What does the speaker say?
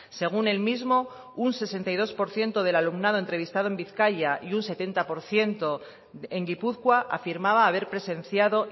según el mismo un sesenta y dos por ciento del alumnado entrevistado en bizkaia y un setenta por ciento en gipuzkoa afirmaba haber presenciado